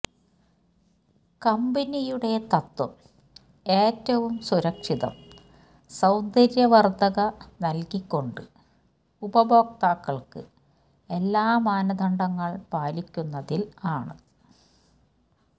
കമ്പനിയുടെ തത്വം ഏറ്റവും സുരക്ഷിതം സൌന്ദര്യവർദ്ധക നൽകികൊണ്ട് ഉപഭോക്താക്കൾക്ക് എല്ലാ മാനദണ്ഡങ്ങൾ പാലിക്കുന്നതിൽ ആണ്